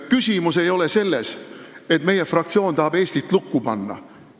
Küsimus ei ole selles, et meie fraktsioon tahab Eestit lukku panna.